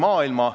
Tänan!